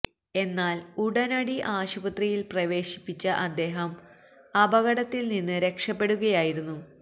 എന്നാല് ഉടനടി ആശുപത്രിയില് പ്രവേശിപ്പിച്ച അദ്ദേഹം അപകടത്തില് നിന്ന് രക്ഷപ്പെടുകയായിരുന്നു